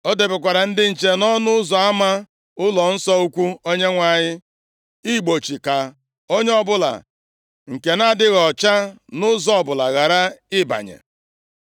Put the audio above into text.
O debekwara ndị nche nʼọnụ ụzọ ama ụlọnsọ ukwu Onyenwe anyị, igbochi ka onye ọbụla nke na-adịghị ọcha nʼụzọ ọbụla ghara ịbanye.